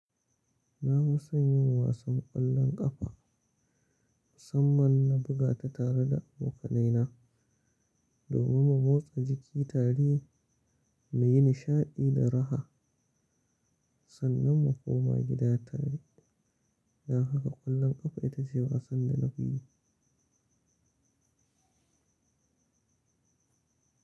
Na fi son yin wasan ƙwallon ƙafa, musamman na buga ta tare da abokanaina domin mu motsa jiki tare mu yi nishaɗi da raha sannan mu koma gida tare. Dan haka ƙwallon ƙafa ita ce wasan da na fi so.